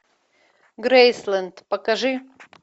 грейсленд покажи